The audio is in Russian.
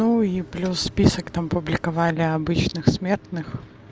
ну и плюс список там публиковали обычных смертных